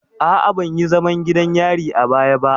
A'a, ban yi zaman gidan yari a baya ba.